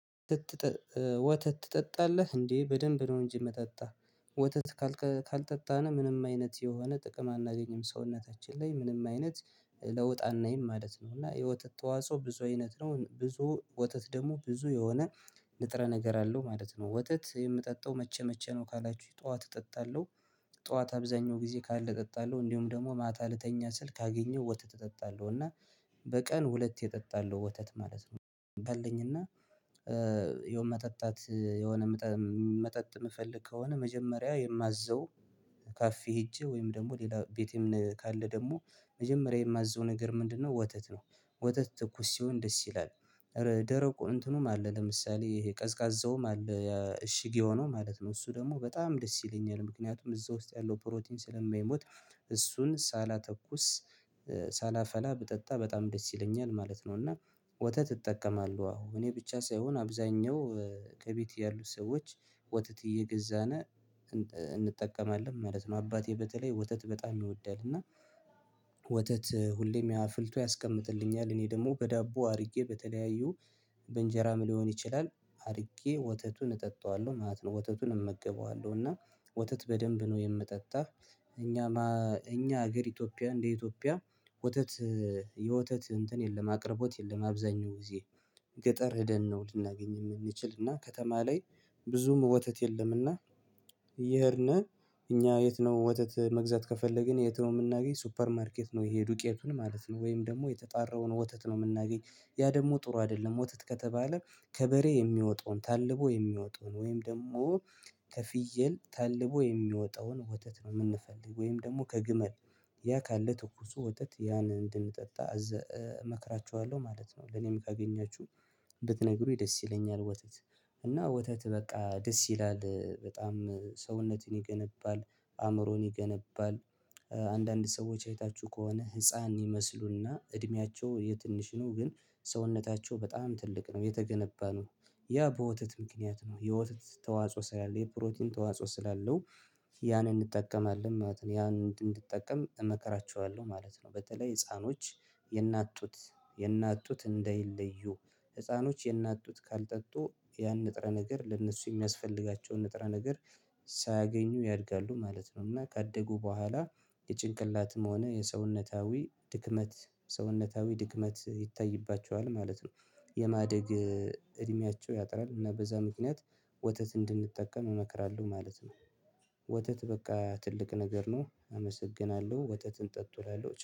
ወተት ትጠጣለህ እንዴ? በደንብ ነው እንጂ የምጠጣው ወተት ካልጠጣን ምንም አይነት የሆነ ጥቅም አናገኝም ሰውነታችን ላይ ምንም አይነት ለውጥ አናይም ማለት ነው። እና የወተት ተዋጽኦ ብዙ አይነት ነው ብዙ ወተት ደግሞ ብዙ የሆነ ንጥረ ነገር አለው ማለት ነው። ወተት የምጠጣው መቼ መቼ ነው ካላችሁኝ ጠዋት እጠጣለሁ። ጠዋት አብዛኛው ጊዜ ካለ እጠጣለሁ እንዲሁም ደግሞ ማታ ልተኛ ስል ካገኘው ወተት እጠጣለሁ እና በቀን ሁለቴ እጠጣለው ወተት ማለት ነው። ባለኝና የሆነ መጠጣት የሆነ መጠጥ ምፈለግ ከሆነ መጀመሪያ የማዘው ካፌ ሄጄ ወይም ደግሞ ሌላ ቤቴም ካለ ደግሞ መጀመሪያ የማዘው ነገር ምንድነው ወተት ነው። ወተት ትኩስ ሲሆን ደስ ይላል። ደረቁ እንትኑም አለ ለምሳሌ ይሄ ቀዝቃዛው ማለት እሽግ የሆነው ማለት ነው እሱ ደግሞ በጣም ደስ ይለኛል ምክንያቱም እዛ ውስጥ ያለው ፕሮቲን ስለማይሞት እሱን ሳላተኩስ ሳላፈላ ብጠጣ በጣም ደስ ይለኛል ማለት ነው። እና ወተት እጠቀማለሁ አሁን እኔ ብቻ ሳይሆን አብዛኛው ከቤቴ ያሉት ሰዎች ወተት እየገዛን እንጠቀማለን ማለት ነው። አባቴ በተለይ ወተት በጣም ይወዳል እና ወተት ሁሌም አፍልቶ ያስቀምጥልኛል እኔ ደግሞ በዳቦ አድርጌ በተለያዩ በእንጀራም ሊሆን ይችላል አድርጌ ወተቱን እጠጣዋለሁ ማለት ነው። ወተቱን እመገበዋለሁ እና ወተት በደንብ ነው የምጠጣው። እኛማ እኛ ሀገር ኢትዮጵያ እንደ ኢትዮጵያ ወተት የወተት እንትን የለም አቅርቦት የለም። አብዛኛው ጊዜ ገጠር ሄደን ነው ልናገኝ የምንችል እና ከተማ ላይ ብዙም ወተት የለም። እና እየሄድን እኛ የት ነው ወተት መግዛት ከፈለግን የት ነው የምናገኝ ሱፐር ማርኬት ነው። ይሄ ዱቄቱን ማለት ነው ወይም ደግሞ የተጣራውን ወተት ነው የምናገኝ ያ ደግሞ ጥሩ አይደለም። ወተት ከተባለ ከበሬ የሚወጣውን ታልቦ የሚወጣውን ወይም ደግሞ ከፍየል ታልቦ የሚወጣውን ወተት ነው የምንፈልግ ወይም ደግሞ ከግመል ያ ካለ ትኩሱ ወተት ያን እንድንጠጣ እመክራቹሃለሁ ማለት ነው። ለኔም ካገኛችሁ ብትነግሩኝ ደስ ይለኛል። ወተት እና ወተት በቃ ደስ ይላል በጣም ሰውነትን ይገነባል አእምሮን ይገነባል አንዳንድ ሰዎች አይታችሁ ከሆነ ህፃን ይመስሉና እድሜያቸው የትንሽ ነው ግን ሰውነታቸው በጣም ትልቅ ነው የተገነባ ነው። ያ በወተት ምክንያት ነው የወተት ተዋጽኦ ስላለ የፕሮቲን ተዋጽኦ ስላለው ያንን እንጠቀማለን ማለት ነው ያ እንድንጠቀም እመከራቹሃለሁ ማለት ነው። በተለይ ህፃኖች የእናት ጡት የእናት ጡት እንዳይለዩ ህፃኖች የእናት ጡት ካልጠጡ ያን ንጥረ ነገር ለእነሱ የሚያስፈልጋቸውን ንጥረ ነገር ሳያገኙ ያድጋሉ ማለት ነው። እና ካደጉ በኋላ የጭንቅላትም ሆነ የሰውነታዊ ድክመት ሰውነታዊ ድግመት ይታይባቸዋል ማለት ነው። የማደግ እድሜያቸው ያጥራል እና በዛ ምክንያት ወተት እንድንጠቀም እመክራለሁ ማለት ነው። ወተት በቃ ትልቅ ነገር ነው። አመሰግናለሁ ወተትን ጠጡ እላለሁ